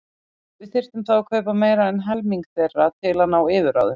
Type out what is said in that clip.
Við þyrftum þá að kaupa meira en helming þeirra til að ná yfirráðum.